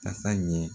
Tasa ɲɛ